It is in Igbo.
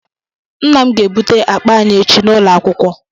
Nna m ga-ebute akpa anyị echi n’ụlọakwụkwọ